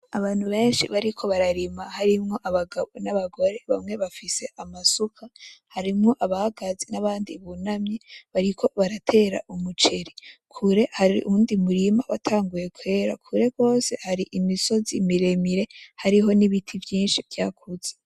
Abantu benshi bariko bararima harimwo abagabo nabagore bamwe bafise amasuka harimwo abahagaze, nabandi bunamye bariko baratera umuceri ,kure hari uwundi murima watanguye kwera, kure gose hari imisozi miremire hariho nibiti vyinshi vyakuze .